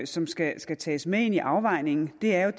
som skal skal tages med ind i afvejningen er jo